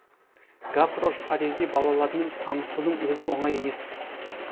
гаврош парижде балалармен танысудың өзі оңай емес